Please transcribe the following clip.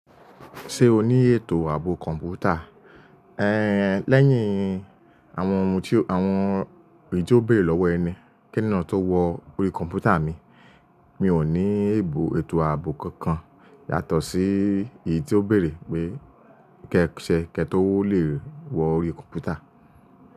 Ṣé o ní ètò ààbò kọ̀ǹpútà? Ẹ̀ lẹ́yìn àwọn ohun tí, àwọn eyii tí ó bèrè lọ́wọ́ ẹni, keeyan tó wọ̀ orí kọ̀ǹpútà mi? Mi ò ní ètò ààbò kankan yàtọ̀ sí èyí ti ó bèrè pé kẹ́ṣẹ́ kẹ́ tó le wo orí kọ̀ǹpútà.